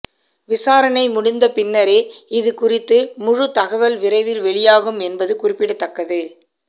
விசாரணை முடிந்த பின்னரே இது குறித்து முழு தகவல் விரைவில் வெளியாகும் என்பது குறிப்பிடத்தக்கது